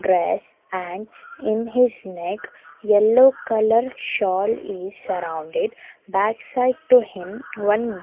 grass and in his neck yellow colour shawl is surrounded back side to him one.